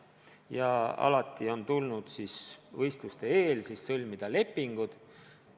Ja alati on siis tulnud enne võistlust sõlmida lepingud.